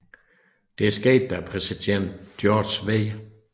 Det skete da præsident George W